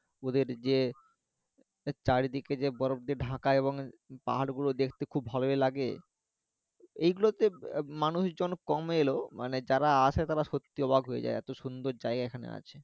ওদের যে চারিদিকে যে বরফ দিয়ে ঢাকা এবং পাহাড় গুলো দেখতে খুব ভালোই লাগে এই গুলোতে আহ মানুষজন কম এলেও মানে যারা আসছে তারা সত্যিই অবাক যায় এতো সুন্দর জায়গা এখানে আছে